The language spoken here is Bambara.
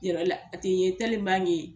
la a tɛ ye ye.